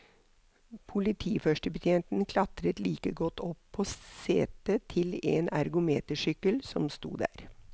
Politiførstebetjenten klatret like godt opp på setet til en ergometersykkel som sto der.